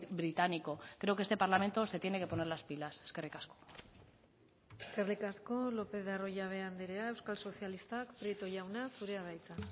británico creo que este parlamento se tiene que poner las pilas eskerrik asko eskerrik asko lopez de arroyabe andrea euskal sozialistak prieto jauna zurea da hitza